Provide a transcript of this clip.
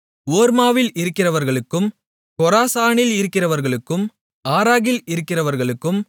ஓர்மாவில் இருக்கிறவர்களுக்கும் கொராசானில் இருக்கிறவர்களுக்கும் ஆற்றாகில் இருக்கிறவர்களுக்கும்